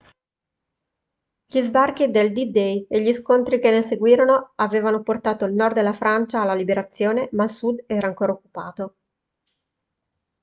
gli sbarchi del d-day e gli scontri che ne seguirono avevano portato il nord della francia alla liberazione ma il sud era ancora occupato